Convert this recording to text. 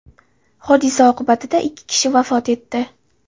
Hodisa oqibatida ikki kishi vafot etdi.